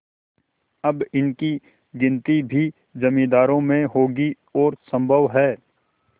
अब इनकी गिनती भी जमींदारों में होगी और सम्भव है